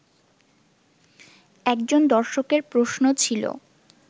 একজন দর্শকের প্রশ্ন ছিল